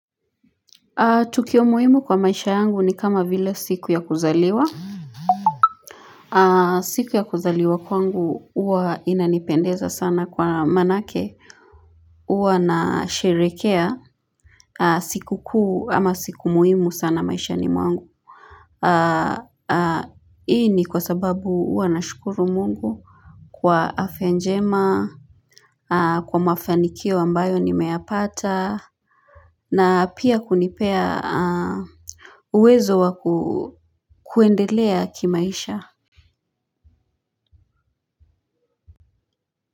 Tukio muhimu kwa maisha yangu ni kama vile siku ya kuzaliwa. Siku ya kuzaliwa kwangu huwa inanipendeza sana kwa manake. Uwa nasherekea. Siku kuu ama siku muhimu sana maishani mwangu. Hii ni kwa sababu uwa na shukuru Mungu. Kwa afya njema. Kwa mafanikio ambayo nimeyapata. Na pia kunipea. Uwezo wa kuendelea kimaisha.